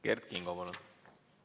Kert Kingo, palun!